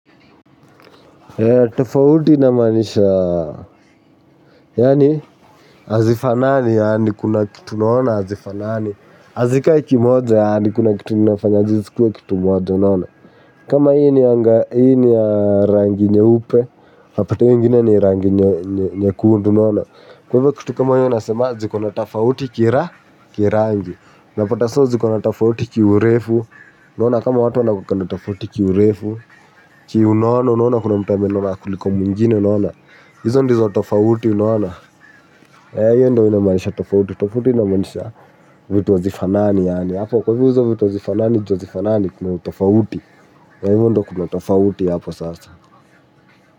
Tofauti inamaanisha, yaani, hazifanani yaani kuna kitu unaona hazifanani, hazikai kimoja yaani kuna kitu inafanya zisikuwe kitu moja unaona. Kama hii ni ya rangi nyeupe, unapata hio ingine ni rangi nyekundu unaona. Kwa hivyo kitu kama hiyo unasemaje, ikona tofauti kira, kirangi. Unapata so zikona tofauti ki urefu, unaona kama watu wana kuwanga na tofauti ki urefu, ki unono, unaona kuna mtu amenona kuliko mwingine, unaona. Hizo ndizo tofauti unaona, ee hiyo ndo inamanisha tofauti, tofauti inamaanisha vitu hazifanani yaani, hapo kwa hivyo hizo vitu hazifanani, ju hazifanani kuna utofauti, ee hivyo ndo kuna tofauti hapo sasa.